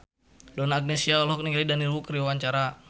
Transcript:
Donna Agnesia olohok ningali Daniel Wu keur diwawancara